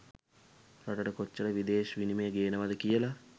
රටට කොච්චර විදෙශ් විනිමය ගේනවද කියලා.